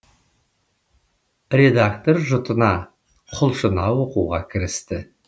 редактор жұтына құлшына оқуға кірісті